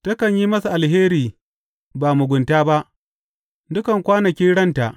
Takan yi masa alheri ba mugunta ba, dukan kwanakin ranta.